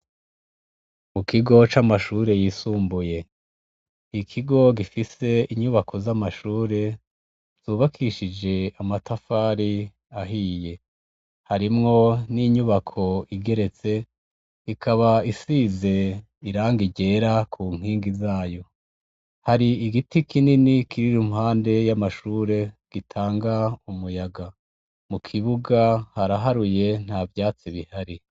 Mu kigo c'amashure yisumbuye ikigo gifise inyubako z'amashure zubakishije amatafari ahiye harimwo n'inyubako igeretse ikaba isize iranga irera ku nkingi zayo hari igi giti kinini kirira mpande y'amashure gitanga umuyaga mu kibuga haraharuye nta vyatsi bihari.